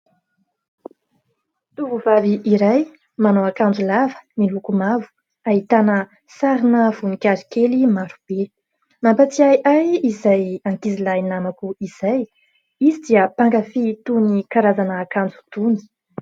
Tovovavy iray manao akanjo lava miloko mavo, ahitana sarina voninkazo kely marobe. Mampatsiahy ahy izay ankizilahy namako izay izy dia mpankafy itony karazana akanjo itony.